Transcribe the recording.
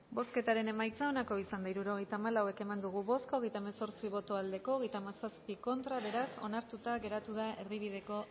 bozketaren emaitza onako izan da hirurogeita hamalau eman dugu bozka hogeita hemezortzi boto aldekoa treinta y siete contra beraz onartuta geratu da erdibideko